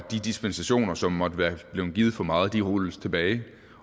og de dispensationer som måtte være blevet givet for meget skal rulles tilbage